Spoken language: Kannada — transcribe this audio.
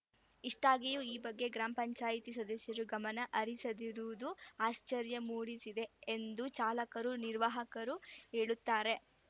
ಇಷ್ಟಾಗಿಯೂ ಈ ಬಗ್ಗೆ ಗ್ರಾಪಂ ಸದಸ್ಯರು ಗಮನ ಹರಿಸದಿರುವುದು ಆಶ್ಚರ್ಯ ಮೂಡಿಸಿದೆ ಎಂದು ಚಾಲಕರು ನಿರ್ವಾಹಕರು ಹೇಳುತ್ತಾರೆ